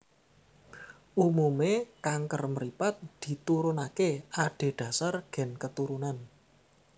Umume kanker mripat diturunake adhedhasar gen keturunan